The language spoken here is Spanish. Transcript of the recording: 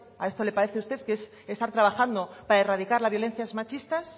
a esto le parece a usted que es estar trabajando para erradicar la violencias machistas